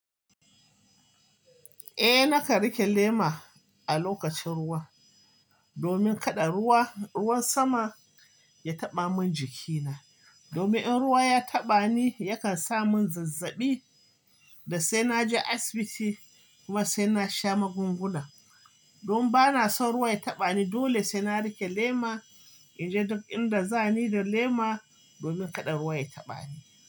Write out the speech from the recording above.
Eh, na ka rike lema a lokacin ruwa domin kada ruwan sama ya taɓa min jikina. Domin in ruwa ya taɓa ni yakan sa mun zazzaɓi, da sai naje asibiti kuma sai na sha magunguna. Don ba na son ruwa ya taɓa ni dole sai na rike lema in je duk inda za ni da lema domin kada ruwa ya taɓa ni.